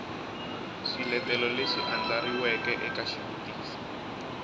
swiletelo leswi andlariweke eka xivutiso